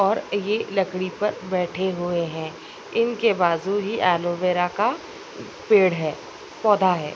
और ये लकड़ी पर बैठे हुए हैं इनके बाजू ही एलोवेरा का पेड़ है पौधा है।